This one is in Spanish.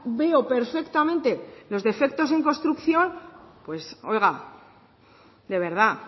veo perfectamente los defectos en construcción oiga de verdad